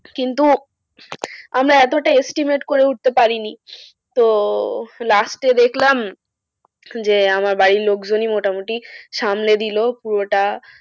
কিন্তু আমরা এতটা estimate করে উঠতে পারিনি। তো last এ দেখলাম যে আমার বাড়ির লোকজনই মোটামুটি সামলে দিল পুরোটা।